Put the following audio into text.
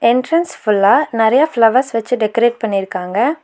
Entrance ஃபுல்லா நறைய flowers வச்சு டெக்கரேட் பண்ணிருக்காங்க.